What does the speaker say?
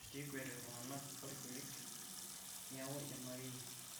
kekwet iltunganak orekek niaku ima akeye